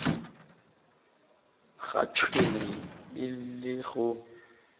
ga tšhwene e le go